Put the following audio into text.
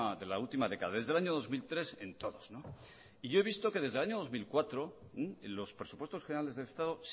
de la última década desde el año dos mil tres en todos y yo he visto que desde el año dos mil cuatro en los presupuestos generales del estado